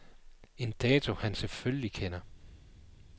En dato han selvfølgelig kender.